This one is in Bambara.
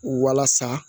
Walasa